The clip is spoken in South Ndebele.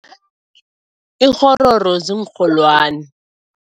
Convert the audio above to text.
Ikghororo ziinrholwani.